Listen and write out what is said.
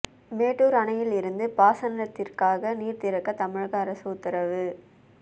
மேட்டூர் அணையில் இருந்து பாசனத்திற்காக நீர் திறக்க தமிழக அரசு உத்தரவு